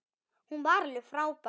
Hún var alveg frábær.